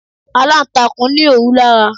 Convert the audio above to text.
Alantakun ní òwú lára.